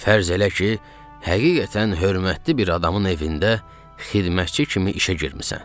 Fərz elə ki, həqiqətən hörmətli bir adamın evində xidmətçi kimi işə girmisən.